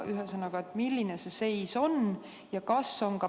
Ühesõnaga, milline see seis on?